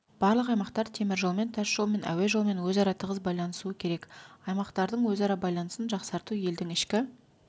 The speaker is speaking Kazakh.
барлық аймақтар теміржолмен тасжолмен әуе жолымен өзара тығыз байланысуы керек аймақтардың өзара байланысын жақсарту елдің ішкі